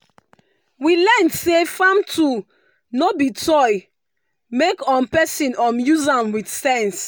we learn say farm tool no be toy make um person um use am with sense.